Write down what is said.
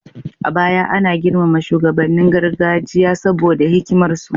A baya ana girmama shugabannin gargajiya saboda hikimar su